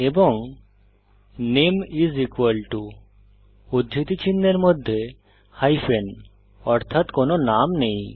এবং নামে is equal to উদ্ধৃতি চিনহের মধ্যে হাইপেন অর্থাৎ কোনো নাম নেই